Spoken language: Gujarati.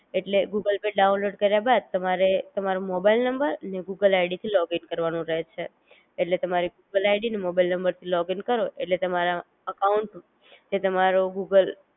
એટલે ગૂગલ પે ડાઉનલોડ કર્યા બાદ તમારે તમારો મોબાઈલ નંબર ને ગૂગલ આઈડી થી લૉગિન કરવાનું રહે છેઍટલે તમારી ગૂગલ આઈડી અને મોબાઈલ નંબર થી લૉગિન કરો ઍટલે તમારા અકાઉંટ, જે તમારો ગૂગલ